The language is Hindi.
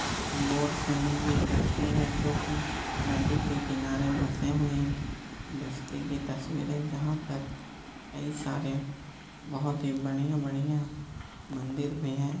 बोट से ले गयी तस्वीर है जो की नदी के किनारे बसे हुए बस्ती की तस्वीर है जहाँ पर कई सारे बहुत ही बढ़िया बढ़िया मंदिर भी है।